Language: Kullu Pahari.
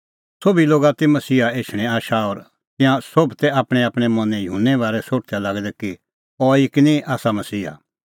सोभी लोगा ती मसीहा एछणें आशा और तिंयां सोभ तै आपणैंआपणैं मनैं युहन्ने बारै सोठदै लागै दै कि अहैई किनी आसा मसीहा